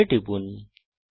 OK টিপুন